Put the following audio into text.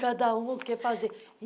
Cada um o que fazer.